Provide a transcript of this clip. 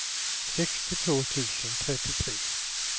sextiotvå tusen trettiotre